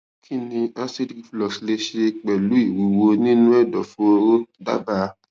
kí ni acid reflux lè ṣe pẹlú ìwúwo nínú ẹdọfóró dábàá